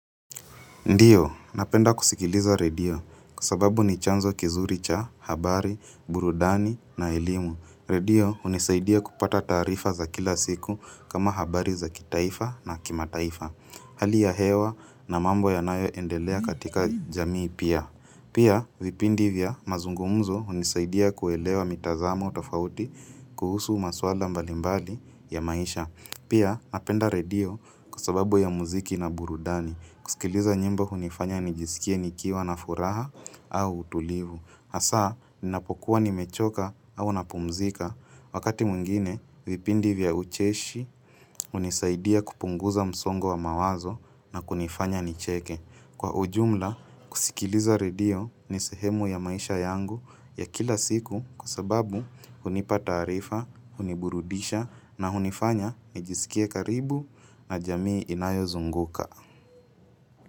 Ndio, napenda kusikiliza redio kwa sababu ni chanzo kizuri cha, habari, burudani na elimu. Redio unisaidia kupata taarifa za kila siku kama habari za kitaifa na kimataifa. Hali ya hewa na mambo yanayo endelea katika jamii pia. Pia, vipindi vya mazungumuzo unisaidia kuelewa mitazamo tofauti kuhusu maswala mbalimbali ya maisha. Pia, napenda redio kusababu ya muziki na burudani. Kusikiliza nyimbo hunifanya nijisikie nikiwa na furaha au utulivu. Asa, ninapokuwa nimechoka au napumzika. Wakati mwingine, vipindi vya ucheshi, hunisaidia kupunguza msongo wa mawazo na kunifanya nicheke. Kwa ujumla, kusikiliza redio ni sehemu ya maisha yangu ya kila siku kwa sababu hunipata taarifa, huniburudisha na hunifanya nijisikie karibu na jamii inayo zunguka.